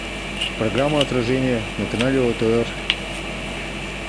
программа отражение на канале о тэ эр